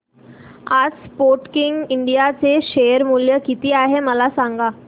आज Sportking India चे share मूल्य किती आहे मला सांगा